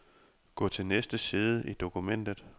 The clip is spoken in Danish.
Gå til næste side i dokumentet.